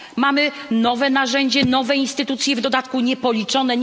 Mamy nowe narzędzie, nowej instytucje, w dodatku niepoliczone.